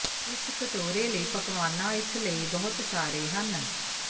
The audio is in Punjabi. ਇਸ ਕਟੋਰੇ ਲਈ ਪਕਵਾਨਾ ਇਸ ਲਈ ਬਹੁਤ ਸਾਰੇ ਹਨ